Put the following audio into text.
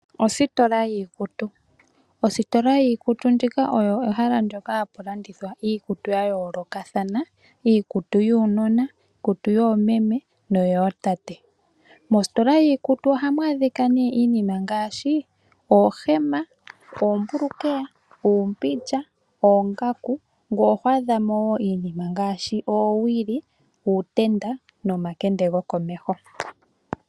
Ositola yiikutu oyo ehala moka hamu landithwa iikutu ya yoolokathana ngaashi yuunona, yoomeme noyootate. Ohamu adhika nee iinima ngaashi oohema, oombulukweya oongaku nosho wo iinima ngaashi uutenda nomakende gokomeho.